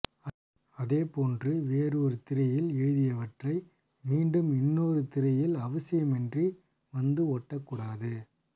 அதே போன்று வேறு ஒரு திரியில் எழுதியவற்றை மீண்டும் இன்னொரு திரியில் அவசியமின்றி வந்து ஒட்டக்கூடாது